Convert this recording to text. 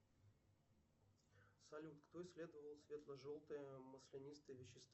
салют кто исследовал светло желтое маслянистое вещество